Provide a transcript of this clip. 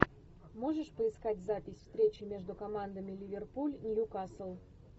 можешь поискать запись встречи между командами ливерпуль ньюкасл